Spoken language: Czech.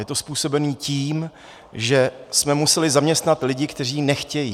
Je to způsobeno tím, že jsme museli zaměstnat lidi, kteří nechtějí.